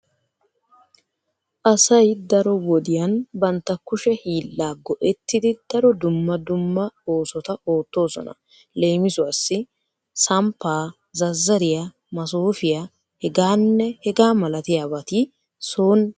Asay daro wodiyan bantta kushe hiillaa go'ettidi daro dumma dumma oosota oottoosona. Leemisuwassi; samppaa zazzariya masoofiya hegaanne hegaa malatiyabati soni daro go'aa immoosona.